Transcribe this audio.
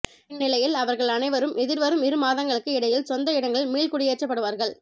இந்நிலையில் அவர்கள் அனைவரும் எதிர்வரும் இரு மாதங்களுக்கு இடையில் சொந்த இடங்களில் மீள்குடியேற்றப்படுவார்கள்